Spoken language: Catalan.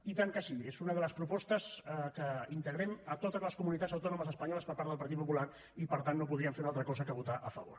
i tant que sí és una de les propostes que integrem a totes les comunitats autònomes espanyoles per part del partit popular i per tant no podríem fer una altra cosa que votar hi a favor